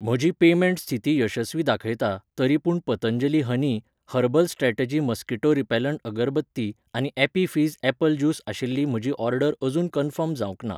म्हजी पेमेंट स्थिती यशस्वी दाखयता, तरीपूण Patanjali honey, herbal strategy mosquito repellent agarbatti आनी ॲपी फिझ ॲप्पल ज्यूस आशिल्ली म्हजी ऑर्डर अजून कन्फर्म जावंक ना